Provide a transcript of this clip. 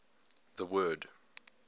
the word